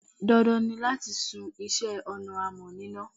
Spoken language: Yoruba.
Dandan ni láti sun iṣẹ́ ọnà amọ̀ níná.